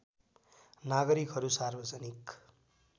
नागरिकहरू सार्वजनिक